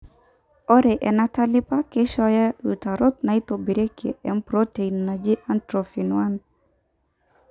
ore enatalipa keishooyo iutarot naitobirieki empurotein naji atrophin 1.